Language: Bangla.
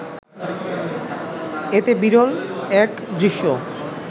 এতে বিরল এক দৃশ্য